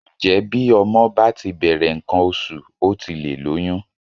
Ǹjẹ́ bí ọmọ bá ti bẹ̀rẹ̀ nǹkan oṣù ó ti lè lóyún?